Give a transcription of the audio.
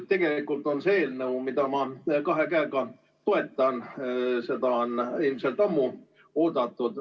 Tegelikult on see eelnõu, mida ma kahe käega toetan, seda on ilmselt ammu oodatud.